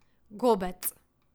Gobec!